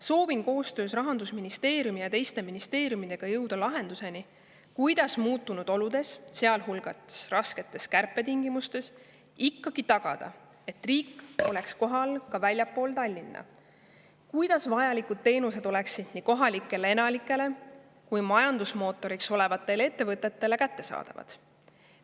Soovin koostöös Rahandusministeeriumi ja teiste ministeeriumidega jõuda lahenduseni, kuidas muutunud oludes, sealhulgas rasketes kärpetingimustes, ikkagi tagada, et riik oleks kohal ka väljaspool Tallinna, kuidas vajalikud teenused oleksid nii kohalikele elanikele kui majandusmootoriks olevatele ettevõtetele kättesaadavad.